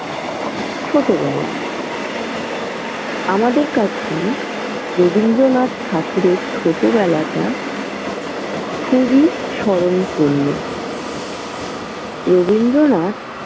ছোটবেলা। আমাদের কাছে রবীন্দ্রনাথ ঠাকুরের ছোটবেলাটা খুবই স্মরণপূর্ণ। রবীন্দ্রনাথ।